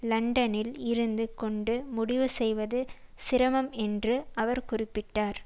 லண்டனில் இருந்து கொண்டு முடிவு செய்வது சிரமம் என்றும் அவர் குறிப்பிட்டார்